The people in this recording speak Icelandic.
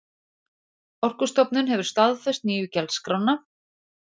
Orkustofnun hefur staðfest nýju gjaldskrána